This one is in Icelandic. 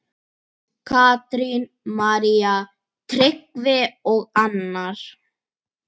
Katrín, María, Tryggvi og Arnar.